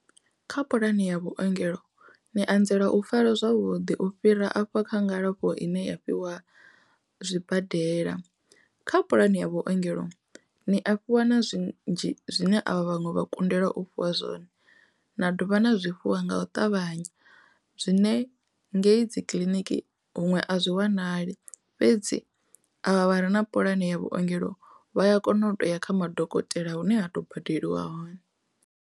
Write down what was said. Kha puḽani ya vhuongelo ni anzela u farwa zwavhuḓi u fhira afha kha ngalafho ine ya fhiwa zwibadela kha puḽani ya vhuongelo ni a fhiwa na zwinzhi zwine a vha vhaṅwe vha kundelwa u fhiwa zwone na dovha na zwifhiwa nga u ṱavhanya zwine ngei dzi kiḽiniki huṅwe a zwi wanali fhedzi a ṱavhanya na puḽane ya vhuongelo vha a kona u ya kha madokotela hune ha to badeliwa hone.